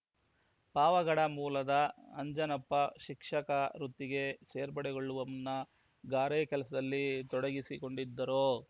ಪಾವಗಡಮೂಲದ ಅಂಜನಪ್ಪ ಶಿಕ್ಷಕ ವೃತ್ತಿಗೆ ಸೇರ್ಪಡೆಗೊಳ್ಳುವ ಮುನ್ನಾ ಗಾರೆ ಕೆಲಸದಲ್ಲಿ ತೊಡಗಿಸಿಕೊಂಡಿದ್ದರು